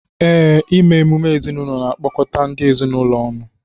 Ee, ime emume ezinụlọ na-akpọkọta ndị ezinụlọ ọnụ